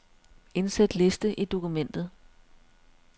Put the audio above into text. Indsæt liste i dokumentet.